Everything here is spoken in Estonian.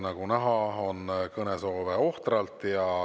Nagu näha, on kõnesoove ohtralt.